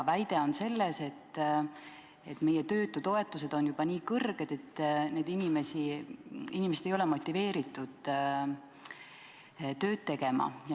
Väide on, et meie töötutoetused on juba nii kõrged, et inimesed ei ole motiveeritud tööd tegema.